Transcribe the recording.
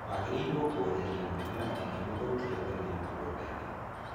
Wagĩrĩrwo kũeheria mĩmera ĩrĩa mĩthũkie tene mũgũnda-inĩ.